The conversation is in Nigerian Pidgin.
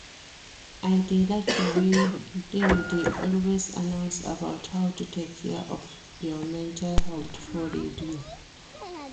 I dey like the way dem dey always announce about how to take care of your mental health for radio